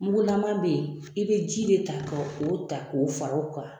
Mugulama bɛ yen i bɛ ji de ta ka o ta k'o fara o kan.